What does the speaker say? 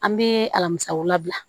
An bɛ alamisawula